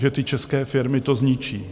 Že ty české firmy to zničí.